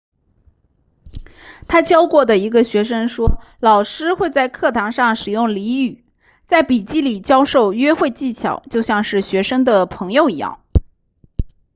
他教过的一个学生说老师会在课堂上使用俚语在笔记里教授约会技巧就像是学生的朋友一样